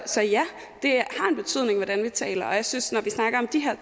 så ja det har en betydning hvordan vi taler og jeg synes når vi snakker om de